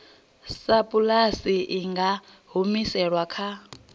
sapulasi i nga humiselwa kha